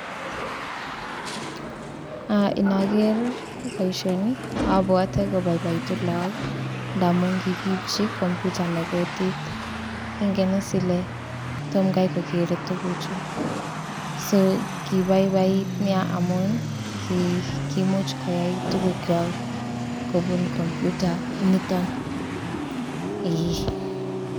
Inaker baishoni abwate kobaibaitun lagok ndamun kikibchi computa nekotit Ingen is Kole Tom Gai kokere tuguk Chu so kobaibait nei amun kimuch koyai tuguk chwak kobun computa initon